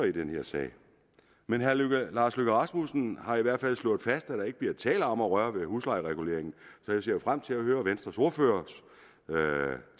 i den her sag men herre lars løkke rasmussen har i hvert fald slået fast at der ikke bliver tale om at røre ved huslejereguleringen så jeg ser frem til at høre venstres ordførers